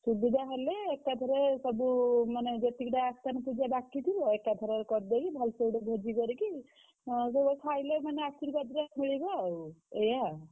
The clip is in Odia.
ସୁବିଧା ହେଲେ ଏକା ଥରେ ସବୁ ମାନେ ଯେତିକି ଟା ଆସ୍ଥାନ ପୂଜା ବାକି ଥିବ ଏକା ଥରରେ କରିଦେଇକି